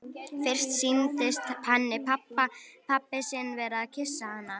Fyrst sýndist henni pabbi sinn vera að kyssa hana.